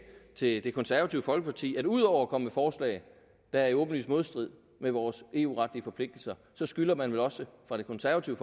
til det konservative folkeparti at ud over at komme forslag der er i åbenlys modstrid med vores eu retlige forpligtelser så skylder man vel også fra det konservative